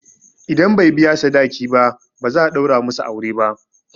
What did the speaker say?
Idan bai biya sadaki ba, ba za a ɗaura musu aure ba.